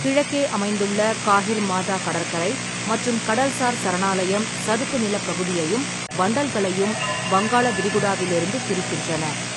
கிழக்கே அமைந்துள்ள காஹிர்மாதா கடற்கரை மற்றும் கடல்சார் சரணாலயம் சதுப்பு நிலப் பகுதியையும் வண்டல்களையும் வங்காள விரிகுடாவிலிருந்து பிரிக்கின்றன.